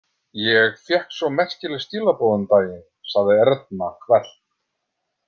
Ég fékk svo merkileg skilaboð um daginn, sagði Erna hvellt.